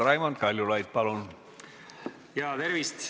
Raimond Kaljulaid, palun!